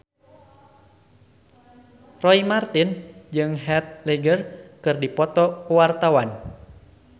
Roy Marten jeung Heath Ledger keur dipoto ku wartawan